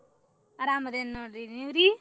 ಅರಾಮ್ ಅದೇನ ನೋಡ್ರಿ ನಿವರೀ?